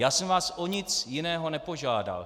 Já jsem vás o nic jiného nepožádal.